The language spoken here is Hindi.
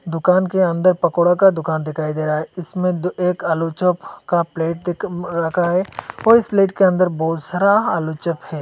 दुकान के अंदर पकौड़ा का दुकान दिखाई दे रहा है इसमें दो एक आलू चप का प्लेट रखा है और इस प्लेट के अंदर बहोत सारा आलू चप है।